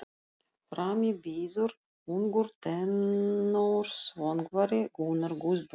Frammi bíður ungur tenórsöngvari, Gunnar Guðbjörnsson.